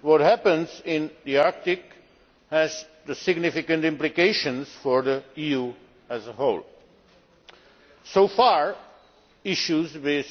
What happens in the Arctic has significant implications for the EU as a whole. So far, issues with